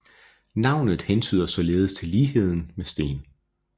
Navnet hentyder således til ligheden med sten